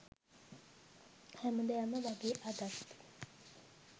හැමදාම වගේ අදත්